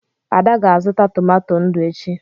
Ada ga-azụta tomato ndụ echi.